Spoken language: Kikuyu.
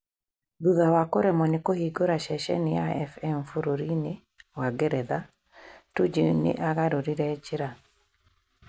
Thutha wa kũremwo nĩ kũhingũra ceceni ya FM bũrũri-inĩ wa Ngeretha, Tuju nĩ aagarũrire njĩra.